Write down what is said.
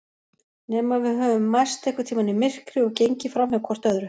Nema við höfum mæst einhvern tíma í myrkri og gengið framhjá hvort öðru.